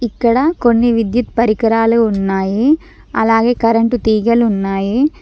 ఇక్కడ కొన్ని విద్యుత్ పరికరాలు ఉన్నాయి అలాగే కరెంట్ తీగలు ఉన్నాయి.